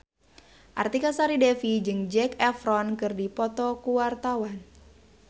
Artika Sari Devi jeung Zac Efron keur dipoto ku wartawan